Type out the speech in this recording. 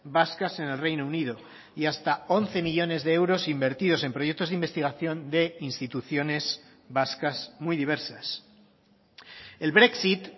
vascas en el reino unido y hasta once millónes de euros invertidos en proyectos de investigación de instituciones vascas muy diversas el brexit